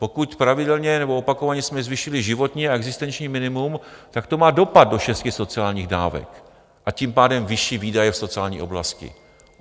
Pokud pravidelně nebo opakovaně jsme zvýšili životní a existenční minimum, tak to má dopad do šesti sociálních dávek, a tím pádem vyšší výdaje v sociální oblasti.